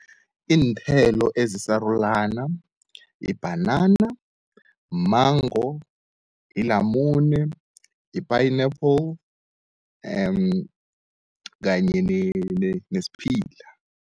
Iinthelo ezisarulana ibhanana, mango, ilamune, i-pineapple kanye nesiphila.